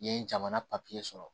N ye jamana papiye sɔrɔ